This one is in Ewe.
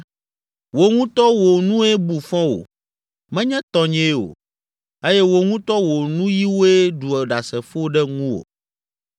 Wò ŋutɔ wò nue bu fɔ wò, menye tɔnyee o, eye wò ŋutɔ wò nuyiwoe ɖu ɖasefo ɖe ŋuwò.